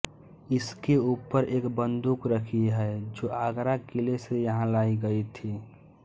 इसके ऊपर एक बंदूक रखी है जो आगरा किले से यहाँ लायी गयी थी